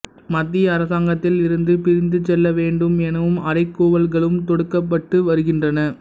மத்திய அரசாங்கத்தில் இருந்து பிரிந்து செல்ல வேண்டும் எனும் அறைகூவல்களும் தொடுக்கப்பட்டு வருகின்றன